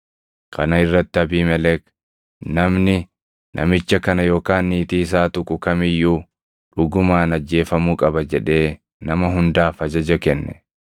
Kana irratti Abiimelek, “Namni namicha kana yookaan niitii isaa tuqu kam iyyuu dhugumaan ajjeefamuu qaba” jedhee nama hundaaf ajaja kenne.